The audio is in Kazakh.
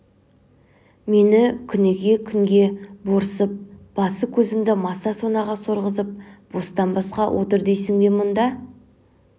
мен күніге күнге борсып басы-көзімді маса-сонаға сорғызып бостан-босқа отыр дейсің бе мұнда